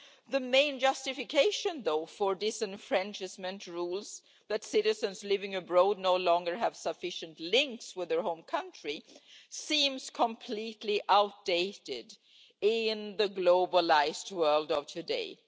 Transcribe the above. The main justification for disenfranchisement, that citizens living abroad no longer have sufficient links with their home country, seems completely outdated in the globalised world of today.